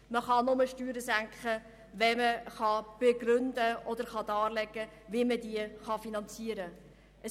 Man kann nur Steuern senken, wenn dargelegt werden kann, wie sie sich die Senkung finanzieren lässt.